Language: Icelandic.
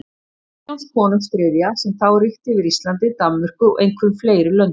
Kristjáns konungs þriðja, sem þá ríkti yfir Íslandi, Danmörku og einhverjum fleiri löndum.